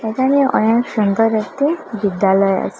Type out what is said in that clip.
এখানে অনেক সুন্দর একটি বিদ্যালয় আছে।